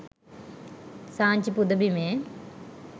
Sanchi පුදබිමේ